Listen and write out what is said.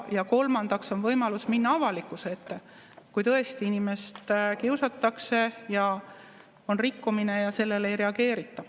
Ja kolmandaks on võimalus minna avalikkuse ette, kui tõesti inimest kiusatakse ja on rikkumine ja sellele ei reageerita.